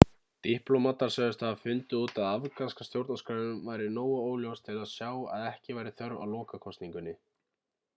diplómatar sögðust hafa fundið út að afganska stjórnarskráin væri nógu óljós til að sjá að ekki væri þörf á lokakosningunni